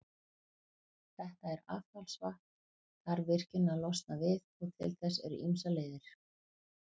Þetta affallsvatn þarf virkjunin að losna við, og til þess eru ýmsar leiðir.